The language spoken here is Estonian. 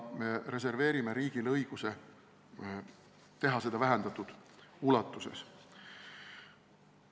Me reserveerime riigile õiguse teha seda vähendatud ulatuses.